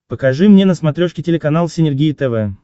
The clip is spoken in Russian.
покажи мне на смотрешке телеканал синергия тв